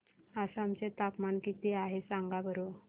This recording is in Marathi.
आसाम चे तापमान किती आहे सांगा बरं